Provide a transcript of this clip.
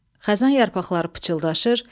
Xəzan yarpaqları pıçıldaşır.